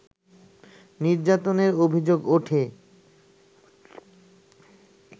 নির্যাতনের অভিযোগ ওঠে